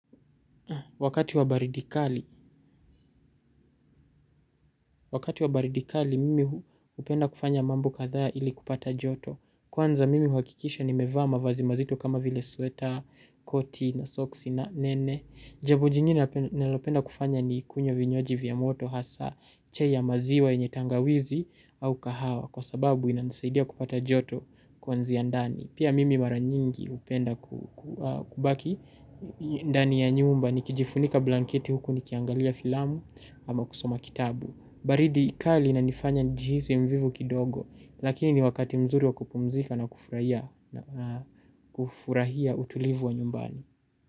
Wakati wa baridi kali, wakati wa baridikali mimi hupenda kufanya mambo kadhaa ili kupata joto. Kwanza mimi huhakikisha ni mevaa mavazi mazito kama vile sweta, koti na soksi nene. Jambo jingine ninalopenda kufanya ni kunywa vinywaji vya moto hasa chai ya maziwa yenye tangawizi au kahawa. Kwa sababu inansaidia kupata joto kwanzia ndani. Pia mimi mara nyingi hupenda kubaki ndani ya nyumba nikijifunika blanketi huku nikiangalia filamu ama kusoma kitabu. Baridi kali inanifanya nijihisi mvivu kidogo, lakini ni wakati mzuri wa kupumzika na kufurahia utulivu wa nyumbani.